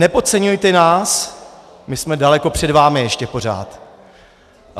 Nepodceňujte nás, my jsme daleko před vámi ještě pořád.